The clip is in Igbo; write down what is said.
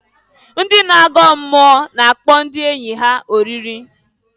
Ndị na-agọ mmụọ na-akpọ ndị enyi ha oriri.